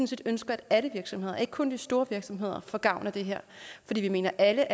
set ønsker at alle virksomheder ikke kun de store virksomheder får gavn af det her fordi vi mener at alle